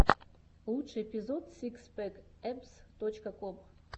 лучший эпизод сикс пэк эбз точка ком